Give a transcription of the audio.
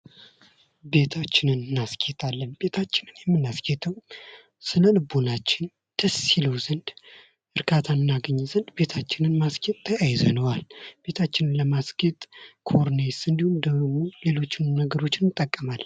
ቤታችንን እናስጌጣለን። ቤታችንን የምናስጌው ስለ ልቦናችን ደስ ይለው ዘንድ እርካታ እናገኝ ዘንድ ቤታችንን ማስጌጥ ተያይዘነዋል። ቤታችንን ለማስጌጥ ኮርኒስ እንዲሁም ደግሞ ሌሎችን ነገሮችንም እንጠቀማለን።